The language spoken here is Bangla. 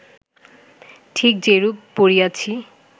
ঠিক যেরূপ পড়িয়াছি